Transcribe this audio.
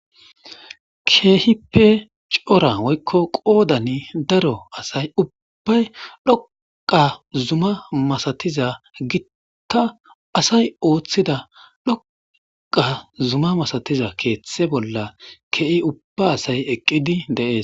Keehipe cora woykko qoodani daro asay ubbay dhoqa zuma masatiza gitta asay ooththida dhoqa zuma masatiza keeththe bolla ke'i ubba asay eqqidi deees.